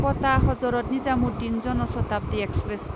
क'टा Hazrat Nizamuddin Jan Shatabdi express